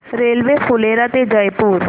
railway Phulera ते जयपूर